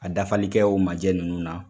A dafalikɛ o majɛ nunnu na.